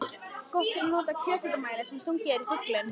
Gott er að nota kjöthitamæli sem stungið er í fuglinn.